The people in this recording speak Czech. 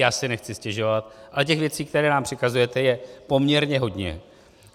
Já si nechci stěžovat, ale těch věcí, které nám přikazujete, je poměrně hodně.